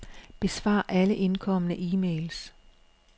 Besvar alle indkomne e-mails.